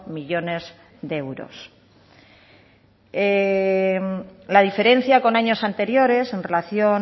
millónes de euros la diferencia con años anteriores en relación